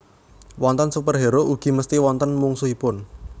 Wonten superhero ugi mesti wonten mungsuhipun